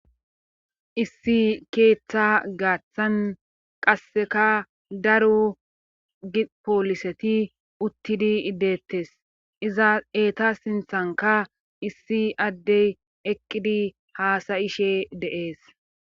issi keeththa gaaththan qasseka daro ipooliseti uttidi deettes iza eeta sinthanka issi addey eqqidi haasayishe deees